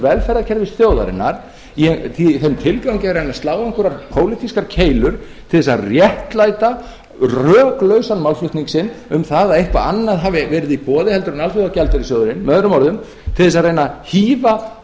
velferðarkerfis þjóðarinnar í þeim tilgangi að reyna að slá einhverjar pólitískar keilur til þess að réttlæta röklausan málflutning sinn um það að eitthvað annað hafi verið í boði heldur en alþjóðagjaldeyrissjóðurinn með öðrum orðum til þess að reyna að hífa